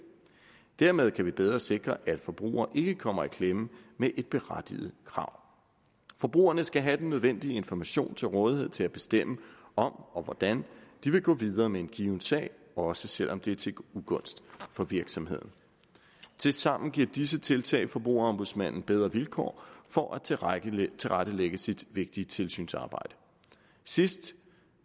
dermed kan vi bedre sikre at forbrugere ikke kommer i klemme med et berettiget krav forbrugerne skal have den nødvendige information til rådighed til at bestemme om og hvordan de vil gå videre med en given sag også selv om det er til ugunst for virksomheden tilsammen giver disse tiltag forbrugerombudsmanden bedre vilkår for at tilrettelægge tilrettelægge sit vigtige tilsynsarbejde sidst